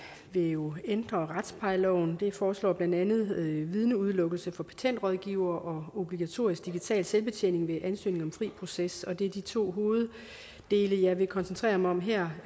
vil jo ændre retsplejeloven det foreslår blandt andet vidneudelukkelse for patentrådgivere og obligatorisk digital selvbetjening ved ansøgning om fri proces det er de to hoveddele jeg vil koncentrere mig om her